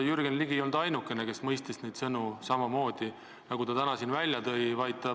Jürgen Ligi ei olnud ainukene, kes mõistis neid sõnu nii, nagu ta täna siin välja tõi.